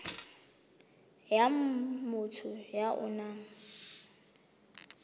ya motho ya o nang